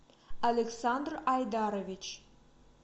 александр айдарович